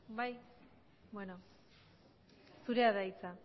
bai bueno zurea da hitza